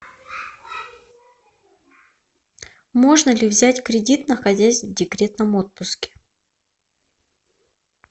можно ли взять кредит находясь в декретном отпуске